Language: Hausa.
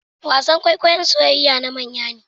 wasan kwaikwayon soyayayya na manya ne